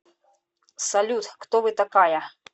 салют кто вы такая